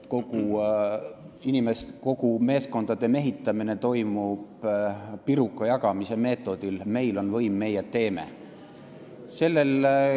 Kogu meeskondade mehitamine toimub piruka jagamise meetodil: meil on võim, meie teeme.